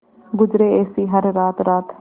गुजरे ऐसी हर रात रात